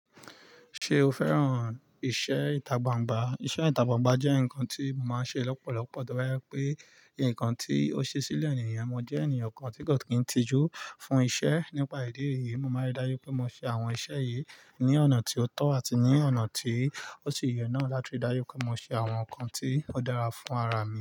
Ṣé o fẹ́ràn iṣẹ́ ìtagbàǹgbà? Iṣẹ́ ìtagbàǹgbà jẹ́ nǹkan tí mo máa ń ṣe lọ́pọ̀lọpọ̀ to ba jẹ pé, nǹkan tí ó ṣe sílẹ̀ ènìyàn, mo jẹ́ ènìyàn kan tí kò kí ń tijú fún iṣẹ́ nípa ìdí èyí, mo máa ń rí dájú pé mo ṣe àwọn iṣẹ́ yìí ní ọ̀nà tí ó tọ́ àti ní ọ̀nà tí ó ti yẹ náà láti rí dájú pé mo ṣe àwọn nǹkan tí ó dára fún ara mi.